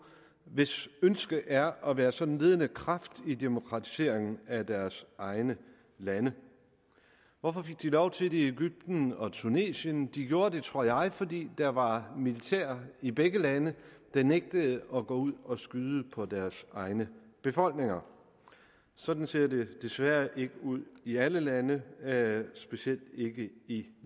hvis ønske det er at være sådan en ledende kraft i demokratiseringen af deres egne lande hvorfor fik de lov til det i egypten og i tunesien de gjorde det tror jeg fordi der var militær i begge lande der nægtede at gå ud og skyde på deres egne befolkninger sådan ser det desværre ikke ud i alle lande specielt ikke i